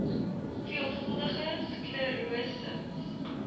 veelvuldige sklerose ms